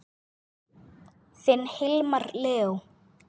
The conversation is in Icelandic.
Þinn Hilmar Leó.